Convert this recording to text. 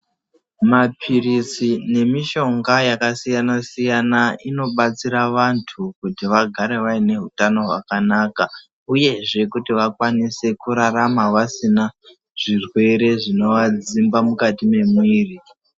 Maphirisi nemishonga yakasiyana-siyana inobatsira vantu kuti vagare vaine hutano hwakanaka, uyezve kuti vakwanise kurarama vasina zvirwere zvinovadzimba mukati memuiri.